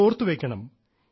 ഇത് ഓർത്തുവെയ്ക്കണം